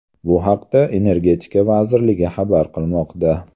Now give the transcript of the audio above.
Bu haqda Energetika vazirligi xabar qilmoqda .